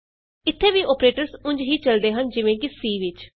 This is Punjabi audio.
ਇਥੇ ਵੀ ਅੋਪਰੇਟਰਸ ਉਂਝ ਹੀ ਚਲਦੇ ਹਨ ਜਿਵੇਂ ਕਿ C ਵਿਚ